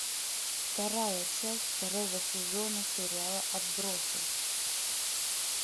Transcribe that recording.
вторая часть второго сезона сериала отбросы